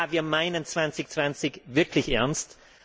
Ja, wir meinen 2020 wirklich ernst.